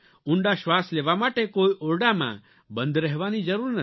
ઊંડા શ્વાસ લેવા માટે કોઇ ઓરડામાં બંધ રહેવાની જરૂર નથી